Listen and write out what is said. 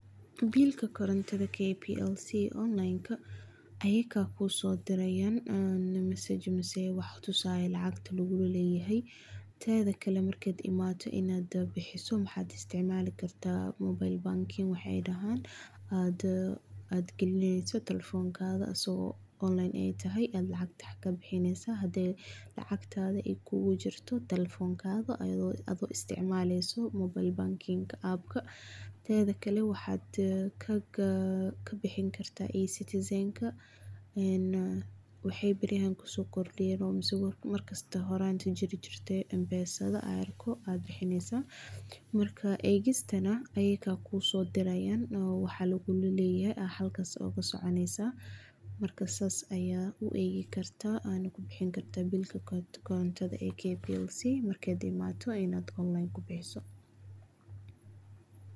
bill koronta kplc online ayaka kusodirayan ee message ee wax tusayo lacagta lagulaleyahay, tedakale markad imato inad bihiso waxad isticmalikarta mobile banking wax ay dahan, aad galineyso talephonkada asago online tahay, lacagta aad bihineysa hadaay lacagtada ay kugujirta talephonkada ado isticmalaleyso mobile banking app tedakale waxaa kabihinkarta e- citizen ka een waxay bariyaha kisokordiyen mise markasta horanka jiri jirte m-pesa aad bihineysa, marka egistana ayaga kusodirayan oo waxa lagulaleyahay sidhas ayay kusoconeysa, marka sas aya uegi karta ana kubihini karta bill kplc inad online kubihiso.